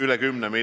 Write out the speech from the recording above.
Uus number on 17.